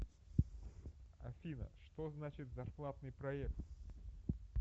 афина что значит зарплатный проект